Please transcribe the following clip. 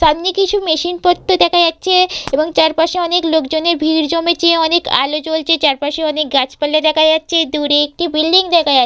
সামনে কিছু মেশিন পত্র দেখা যাচ্ছে এবং চারপাশে অনেক লোকজনের ভিড় জমেছে অনেক আলো জ্বলছে চারপাশে অনেক গাছপালা দেখা যাচ্ছে দূরে একটি বিল্ডিং দেখা যাচ্--